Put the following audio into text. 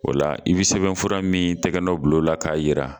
O la i bɛ sɛbɛn fura min tɛgɛnɔ bila o la k'a jira